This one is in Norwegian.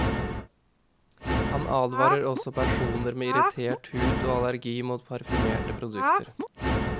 Han advarer også personer med irritert hud og allergi mot parfymerte produkter.